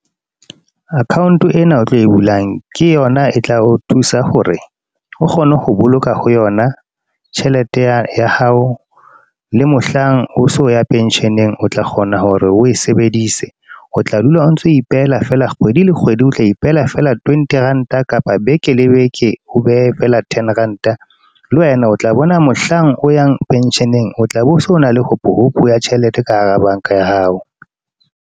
Account ena o tlo e bulang, ke yona e tla o thusa hore o kgone ho boloka ho yona. Tjhelete ya hao, le mohlang o so ya pension-eng, o tla kgona hore o e sebedise. O tla dula o ntso ipehela fela kgwedi le kgwedi o tla ipehela fela twenty rand-a. Kapa beke le beke, o behe fela ten rand-a. Le wena o tla bona mohlang o yang pension-eng o tla be o se o na le hopo hopo, ya tjhelete ka hara bank-a ya hao.